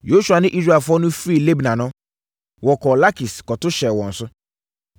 Yosua ne Israelfoɔ no firi Libna no, wɔkɔɔ Lakis kɔto hyɛɛ wɔn so.